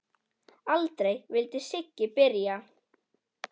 Aldrei vildi Siggi byrja.